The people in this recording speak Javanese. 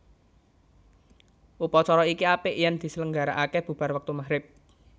Upacara iki apik yen diselenggaraake bubar wektu maghrib